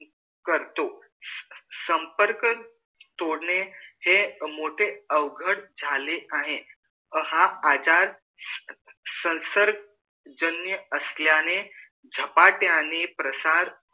कर्तों संपर्क तोड़ने ही मोठे अवघड झाले आहे हा आजार स संसर्ग जानी असल्याने झपट्याने प्रसार करतो